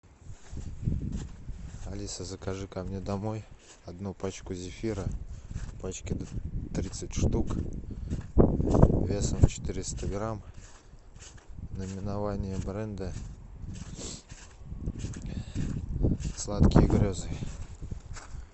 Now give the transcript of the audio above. алиса закажи ко мне домой одну пачку зефира в пачке тридцать штук весом четыреста грамм наименование бренда сладкие грезы